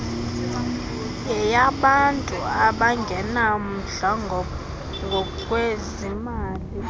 yeyabantu abangenamndla ngokwezimali